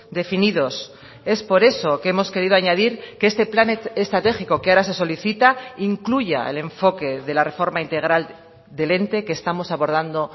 definidos es por eso que hemos querido añadir que este plan estratégico que ahora se solicita incluya el enfoque de la reforma integral del ente que estamos abordando